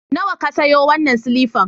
Nawa ka sayo wannan silifan?